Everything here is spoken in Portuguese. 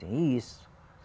Tem isso.